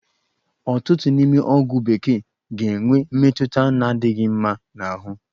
Ọtụtụ n'ime ọgwụ bekee ga-enwe mmetụta na-adịghị mma n'ahụ